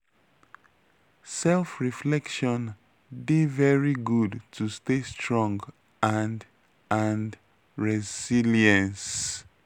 self reflection dey very good to stay strong and and resilience.